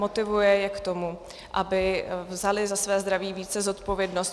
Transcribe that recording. Motivuje je k tomu, aby vzali za své zdraví více zodpovědnost.